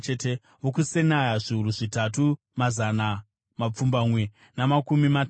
vokuSenaa, zviuru zvitatu mazana mapfumbamwe namakumi matatu.